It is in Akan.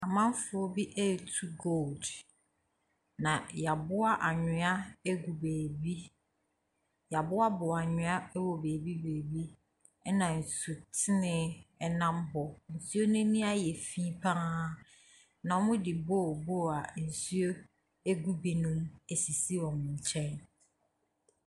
Ɔmanfoɔ bi retu Gold, na wɔaboa anwea ano agu baabi. Wɔaboaboa nnua wɔ baabi baabi, ɛnna nsutene nam hɔ. Nsuo no ani ayɛ fi pa ara, na wɔde bowl bowl a nsuo gu binom mu asisi wɔn nkyɛn.